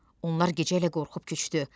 Onlar gecə ilə qorxub köçdü.